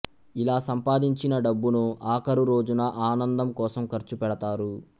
ఇలా సంపాదించిన డబ్బును అఖరు రోజున ఆనందం కోసం ఖర్చు పెడతారు